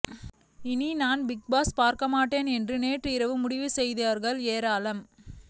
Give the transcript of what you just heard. இனி நான் Bigg Boss பார்க்க மாட்டேன் என்று நேற்று இரவு முடிவு செய்தவர்கள் ஏராளம்